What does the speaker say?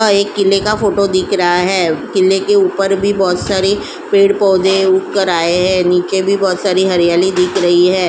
यह एक किले का फोटो दिख रहा है। किले के ऊपर भी बहोत सारी पेड़ पौधे उग कर आए हैं। नीचे बहोत सारी हरियाली दिख रही है।